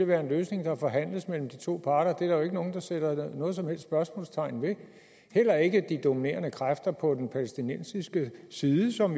være en løsning der forhandles mellem de to parter det er der jo ikke nogen der sætter noget som helst spørgsmålstegn ved heller ikke de dominerende kræfter på den palæstinensiske side som